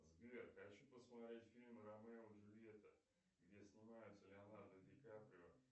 сбер хочу посмотреть фильм ромео и джульетта где снимается леонардо ди каприо